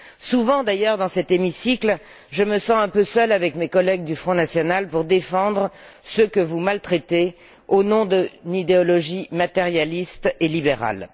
Souvent d'ailleurs, dans cet hémicycle, je me sens un peu seule avec mes collègues du Front national pour défendre ceux que vous maltraitez au nom d'une idéologie matérialiste et libérale.